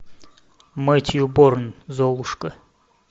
мэтью борн золушка